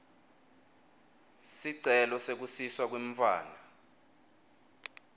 sicelo sekusiswa kwemntfwana